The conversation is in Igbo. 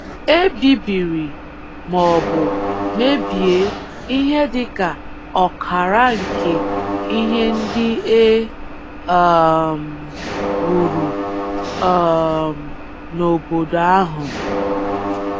E bibiri ma ọ bụ mebie ihe dị ka ọkara nke ihe ndị e um wuru um n’obodo ahụ.